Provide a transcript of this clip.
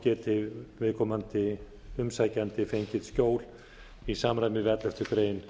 geti viðkomandi umsækjandi fengið skjól í samræmi við elleftu grein